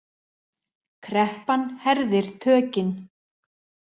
Kreppan herðir tökin